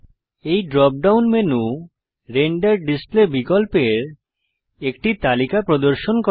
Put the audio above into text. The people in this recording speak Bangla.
এই drop down menu render display বিকল্পের একটি তালিকা প্রদর্শন করে